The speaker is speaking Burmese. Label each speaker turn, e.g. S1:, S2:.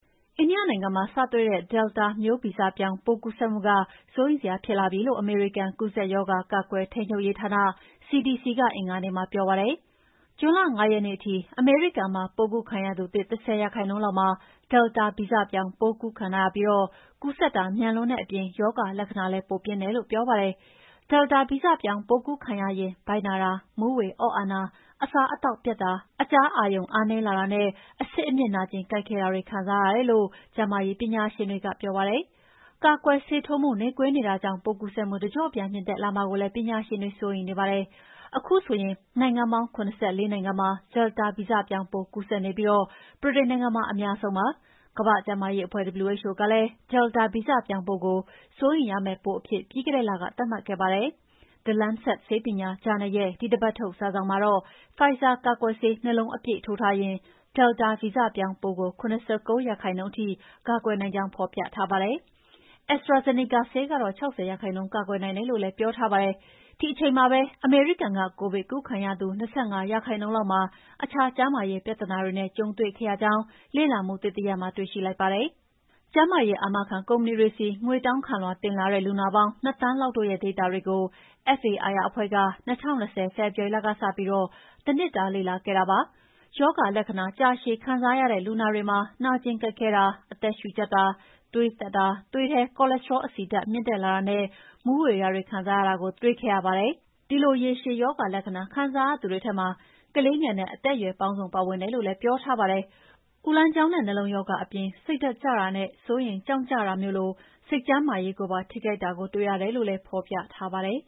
S1: အိန္ဒိယနိုင်ငံမှာစတွေ့တဲ့ Delta မျိုးဗီဇပြောင်းပိုးကူးစက်မှုက စိုးရိမ်စရာဖြစ်လာပြီလို့ အမေရိကန်ကူးစက်ရောဂါ ကာကွယ်ထိန်းချုပ်ရေးဌာန CDC ကအင်္ဂါနေ့မှာပြောပါတယ်။ ဂျွန်လ ၅ ရက်နေ့ထိ အမေရိကန်မှာပိုးကူးခံရသူသစ် ၁၀ ရာခိုင်နှုန်းလောက်မှာ Delta ဗီဇပြောင်းပိုးခံထားရပြီး ကူးစက်တာ မြန်လွန်းတဲ့အပြင် ရောဂါလက္ခဏာလည်း ပိုပြင်းတယ်လို့ဆိုပါတယ်။ Delta ဗီဇပြောင်းပိုးကူးခံရရင် ဗိုက်နာတာ၊ မူးဝေအော့အန်တာ၊ အစားအသောက်ပျက်တာ၊ အကြားအာရုံအားနည်းလာတာနဲ့ အဆစ်အမြစ်နာကျင်ကိုက်ခဲတာတွေခံစားရတယ်လို့ ကျန်းမာရေးပညာရှင်တွေကပြောပါတယ်။ ကာကွယ်ဆေးထိုးမှုနှေးကွေးနေတာကြောင့် ပိုးကူးစက်မှုတကျော့ပြန်မြင့်တက်လာမှာကိုလည်း ပညာရှင်တွေစိုးရိမ်နေပါတယ်။ ခုဆိုရင် နိုင်ငံပေါင်း ၇၄ နိုင်ငံမှာ Delta ဗီဇပြောင်းပိုးကူးစက်နေပြီး ဗြိတိန်နိုင်ငံမှာ အများဆုံးကူးစက်နေပါတယ်။ ကမ္ဘာ့ကျန်းမာရေးအဖွဲ့ WHO ကလည်း Delta ဗီဇပြောင်းပိုးကို စိုးရိမ်ရမယ့်ပိုးအဖြစ် ပြီးခဲ့တဲ့လကသတ်မှတ်ခဲ့ပါတယ်။ The Lancet ဆေးပညာဂျာနယ်ရဲ့ဒီတပတ်ထုတ် စာစောင်မှာတော့ Pfizer ကာကွယ်ဆေး ၂ လုံးအပြည့်ထိုးထားရင် Delta ဗီဇပြောင်းပိုးကို ၇၉ ရာခိုင်နှုန်းထိကာကွယ်နိုင်ကြောင်း ဖော်ပြထားပါတယ်။ AstraZeneca ဆေးကတော့ ၆၀ ရာခိုင်နှုန်းကာကွယ်နိုင်တယ်လို့လည်းပြောထားပါတယ်။ ဒီအချိန်မှာပဲ အမေရိကန်က ကိုဗစ်ကူးခံရသူ ၂၅ ရာခိုင်နှုန်းလောက်မှာ အခြားကျန်းမာရေးပြဿနာတွေနဲ့ကြုံတွေ့ခဲ့ရကြောင့် လေ့လာမှုသစ်တရပ်မှာတွေ့ရှိလိုက်ပါတယ်။ကျန်းမာရေးအာမခံကုမ္ပဏီတွေဆီ ငွေတောင်းခံလွှာတင်လာတဲ့ လူနာပေါင်း ၂ သန်းလောက်တို့ရဲ့ဒေတာတွေကို FAIR အဖွဲ့က ၂၀၂၀ ဖေဖော်ဝါရီလကစပြီး တနှစ်တာလေ့လာခဲ့တာပါ။ ရောဂါလက္ခဏာကြာရှည်ခံစားရတဲ့လူနာတွေမှာ နာကျင်ကိုက်ခဲတာ၊ အသက်ရှုကြပ်တာ၊ သွေးတက်တာ၊ သွေးထဲ cholesterol အဆီဓာတ်မြင့်လာတာနဲ့ မူးဝေတာတွေခံစားရတာကိုတွေ့ရှိခဲ့ပါတယ်။ ဒီလိုရေရှည်ရောဂါလက္ခဏာကိုခံစားရသူတွေထဲမှာ ကလေးငယ်နဲ့ အသက်အရွယ်ပေါင်းစုံပါဝင်တယ်လို့လည်းပြောထားပါတယ်။ အူလမ်းကြောင်းနဲ့ နှလုံးရောဂါအပြင် စိတ်ကျတာနဲ့ စိုးရိမ်ကြောင့်ကျတာမျိုးလို စိတ်ကျန်းမာရေးကိုပါ ထိခိုက်တာကိုလည်းတွေ့ရတယ်လို့လည်း ဖော်ပြထားပါတယ်